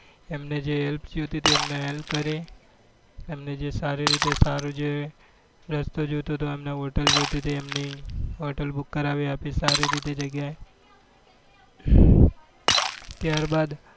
એમને જે help જોઈતી હતી એમને help કરી એમને જે સારી રીતે સારું જર રસ્તો જોઈતો એમને hotel જોઈતી હતી એમને hotel book કરાવી આપી સારી રીતે જગ્યા એ ત્યાર બાર